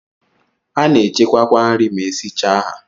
A na-echekwa kwa nri ma esichaa ha.